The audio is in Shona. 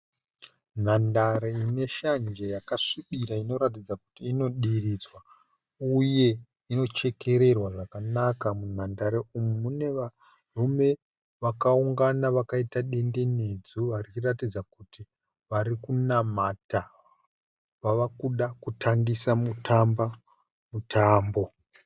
Nhandare ine shanje yakasvibira inoratidza kuti inodiridzwa uye inochekererwa zvakanaka. Munhandare umu mune varume vakaungana vakaita dendenedzwa vachiratidza kuti vari kunamata vavakuda kutangisa kutamba mutambo.